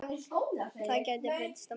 Það gæti breyst á morgun.